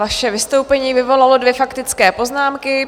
Vaše vystoupení vyvolalo dvě faktické poznámky.